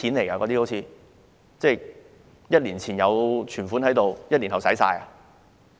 1年前有存款 ，1 年後已經花光嗎？